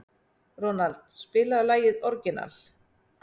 Ronald, spilaðu lagið „Orginal“.